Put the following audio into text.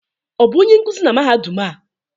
Ọ bụ onye nkuzi na mahadum a?